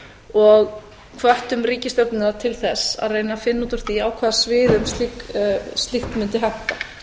og hvöttum ríkisstjórnirnar til þess að reyna að finna út úr því á hvaða sviðum slíkt mundi henta